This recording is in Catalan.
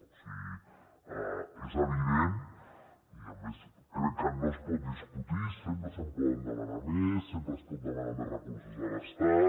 o sigui és evident i a més crec que no es pot discutir sempre se’n poden demanar més sempre es pot demanar més recursos a l’estat